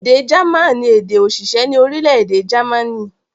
Èdè German ni èdè-òṣìṣẹ́ ní orílẹ̀-èdè Jámánì.